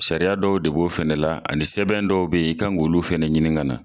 Sariya dɔw de b'o fɛnɛ la ani sɛbɛn dɔw be yen, i kan k'olu fɛnɛ ɲinin ka na.